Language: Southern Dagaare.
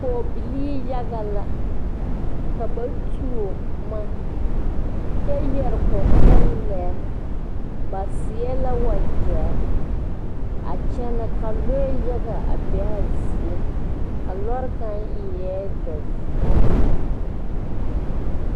Pɔgbilii yaga la ka ba tuo buma kye yere kukuleɛ ba seɛ la wujeri a kyene ka lɔɛ yaga a be a zie a lɔɔri kang eei dozong.